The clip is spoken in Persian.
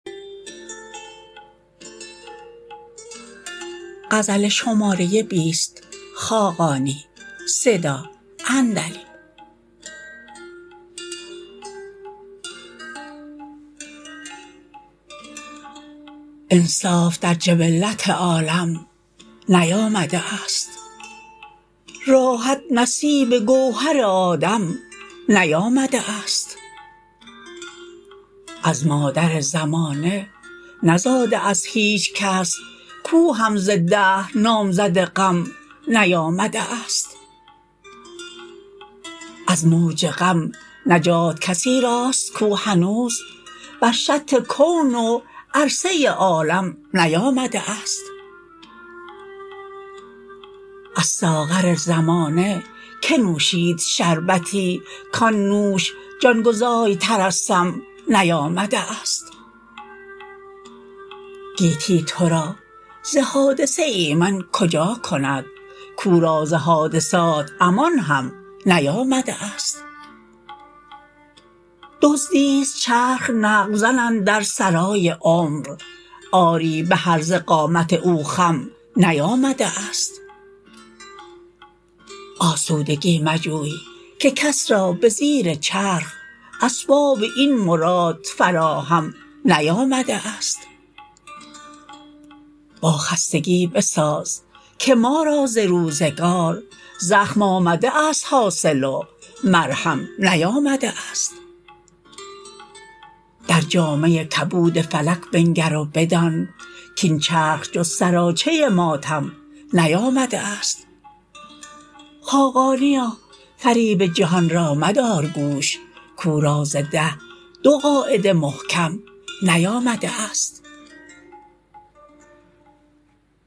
انصاف در جبلت عالم نیامده است راحت نصیب گوهر آدم نیامده است از مادر زمانه نزاده است هیچکس کو هم ز دهر نامزد غم نیامده است از موج غم نجات کسی راست کو هنوز بر شط کون و فرضه عالم نیامده است از ساغر زمانه که نوشید شربتی کان نوش جانگزای تر از سم نیامده است گیتی تو را ز حادثه ایمن کجا کند کو را ز حادثات امان هم نیامده است دزدی است چرخ نقب زن اندر سرای عمر آری به هرزه قامت او خم نیامده است آسودگی مجوی که کس را به زیر چرخ اسباب این مراد فراهم نیامده است با خستگی بساز که ما را ز روزگار زخم آمده است حاصل و مرهم نیامده است در جامه کبود فلک بنگر و بدان کاین چرخ جز سراچه ماتم نیامده است خاقانیا فریب جهان را مدار گوش کو را ز ده دو قاعده محکم نیامده است